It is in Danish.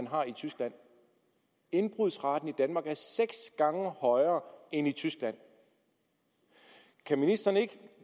har i tyskland indbrudsraten i danmark er seks gange højere end i tyskland kan ministeren ikke